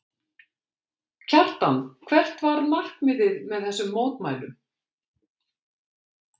Kjartan, hvert var markmiðið með þessum mótmælum?